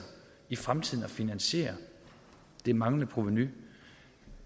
i fremtiden at finansiere det manglende provenu